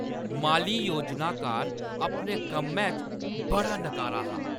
माली योजनाकार अपने कम्मै च बड़ा नकारा हा।